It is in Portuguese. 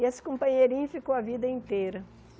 E esse companheirinho ficou a vida inteira.